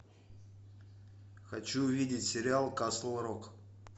хочу увидеть сериал касл рок